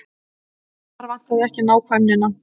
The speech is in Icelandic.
Þar vantaði ekki nákvæmnina.